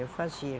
Eu fazia.